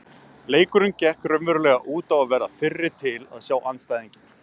Leikurinn gekk raunverulega út á að verða fyrri til að sjá andstæðinginn.